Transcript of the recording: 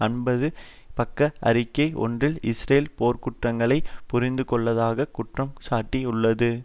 ஐம்பது பக்க அறிக்கை ஒன்றில் இஸ்ரேல் போர்குற்றங்களை புரிந்துள்ளதாகக் குற்றம் சாட்டியுள்ளது